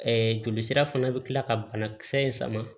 jolisira fana bi kila ka banakisɛ in sama